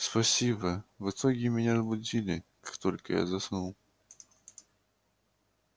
спасибо в итоге меня разбудили как только я заснул